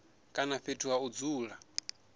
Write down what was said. kana fhethu ha u dzula